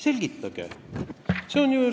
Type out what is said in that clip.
Selgitage!